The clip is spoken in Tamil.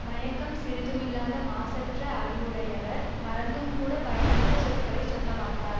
மயக்கம் சிறிதுமில்லாத மாசற்ற அறிவுடையவர் மறந்தும்கூடப் பயனற்ற சொற்களை சொல்ல மாட்டார்